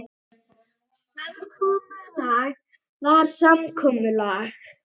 Samkomulag var samkomulag.